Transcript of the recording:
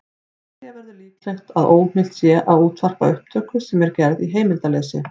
Telja verður líklegt að óheimilt sé að útvarpa upptöku sem er gerð í heimildarleysi.